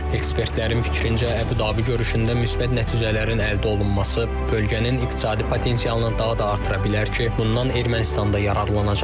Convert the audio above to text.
Ekspertlərin fikrincə, Əbu Dabi görüşündə müsbət nəticələrin əldə olunması bölgənin iqtisadi potensialını daha da artıra bilər ki, bundan Ermənistan da yararlanacaq.